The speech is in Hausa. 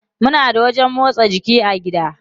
Muna da wajen motsa jiki a gida.